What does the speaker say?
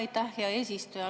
Aitäh, hea eesistuja!